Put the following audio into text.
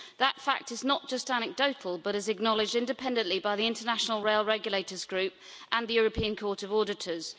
That fact is not just anecdotal, but is acknowledged independently by the International Rail Regulators' Group and the European Court of Auditors.